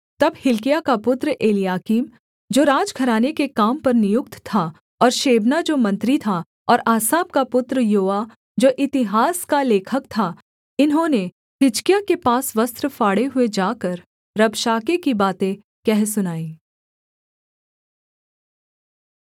तब हिल्किय्याह का पुत्र एलयाकीम जो राजघराने के काम पर नियुक्त था और शेबना जो मंत्री था और आसाप का पुत्र योआह जो इतिहास का लेखक था इन्होंने हिजकिय्याह के पास वस्त्र फाड़े हुए जाकर रबशाके की बातें कह सुनाई